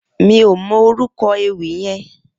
Mi ó mò órúkò éwì yèn